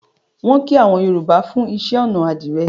Wọn kọ àwọn Yorùbá fún iṣẹ́-ọnà àdìrẹ́.